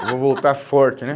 Eu vou voltar forte, né?